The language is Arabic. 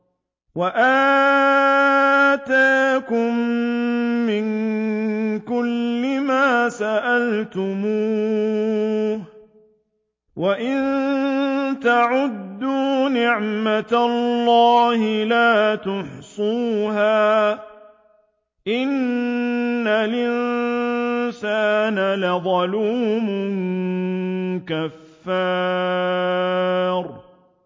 وَآتَاكُم مِّن كُلِّ مَا سَأَلْتُمُوهُ ۚ وَإِن تَعُدُّوا نِعْمَتَ اللَّهِ لَا تُحْصُوهَا ۗ إِنَّ الْإِنسَانَ لَظَلُومٌ كَفَّارٌ